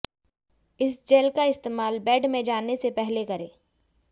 इस जैल का इस्तेमाल बेड में जाने से पहले करें